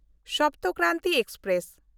Sapt Kranti express